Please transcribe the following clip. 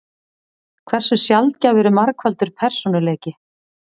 Hversu sjaldgæfur er margfaldur persónuleiki?